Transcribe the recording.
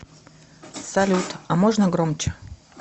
салют а можно громче